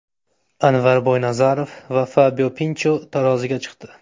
Anvar Boynazarov va Fabio Pincha taroziga chiqdi.